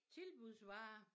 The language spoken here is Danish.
Tilbudsvarer